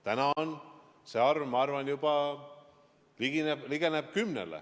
Täna see arv, ma arvan, ligineb juba 10-le.